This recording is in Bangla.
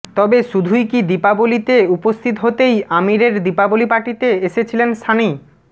তবে শুধুই কী দীপাবলিতে উপস্থিত হতেই আমিরের দীপাবলি পার্টিতে এসেছিলেন সানি